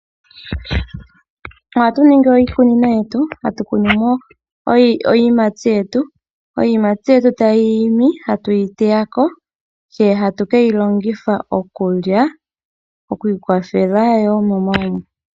Oha tu ningi iikunino yetu, ha tu kunu mo iiyimati yetu. Iiyimati yetu tayi imi ta tu yi teya ko, tse ta tu keyi longitha okulya no ku iikwathela wo momagumbo.